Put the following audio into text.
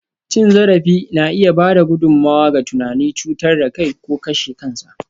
Cin zarafi na iya ba da gudummawa ga tunanin cutar da kai ko kashe kansa.